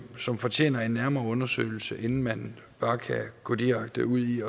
som fortjener en nærmere undersøgelse inden man bare kan gå direkte ud i